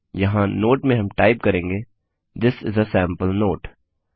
यहाँ नोट में हम टाइप करेंगे थिस इस आ सैंपल नोटे